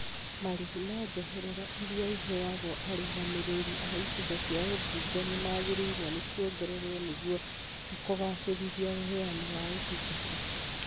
Marĩhi ma njoherera irĩa iheagwo arũgamĩrĩri a icigo cia ũmbunge nĩmagĩrĩirwo nĩ kuongererwo nĩguo kũgacĩrithia ũheani wa ũtungata